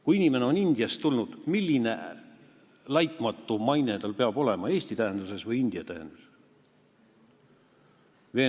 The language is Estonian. Kui inimene on Indiast tulnud, siis milline laitmatu maine tal peab olema, kas Eesti tähenduses või India tähenduses?